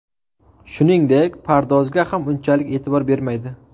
Shuningdek, pardozga ham unchalik e’tibor bermaydi.